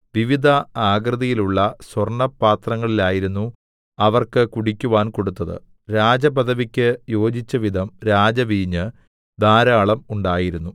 വിവിധ ആകൃതിയിലുള്ള സ്വർണ്ണ പാത്രങ്ങളിലായിരുന്നു അവർക്ക് കുടിക്കുവാൻ കൊടുത്തത് രാജപദവിക്ക് യോജിച്ചവിധം രാജവീഞ്ഞ് ധാരാളം ഉണ്ടായിരുന്നു